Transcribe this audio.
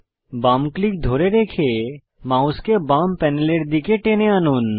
বাম ক্লিক ধরে রেখে মাউসকে বাম প্যানেলের দিকে টেনে আনুন